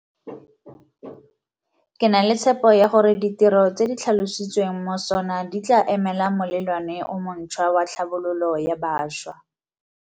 Ke na le tshepo ya gore ditiro tse di tlhalositsweng mo SoNA di tla emela molelwane o montšhwa wa tlhabololo ya bašwa.